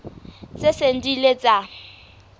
tse seng di ile tsa